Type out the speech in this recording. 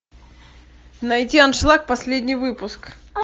найти аншлаг последний выпуск